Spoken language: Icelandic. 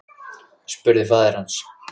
spurði faðir hans.